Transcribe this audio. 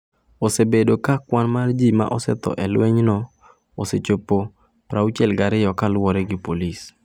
Osebedo ka kwan mar ji ma osetho e lwenyno osechopo 62 kaluwore gi polisi.